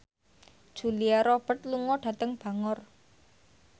Julia Robert lunga dhateng Bangor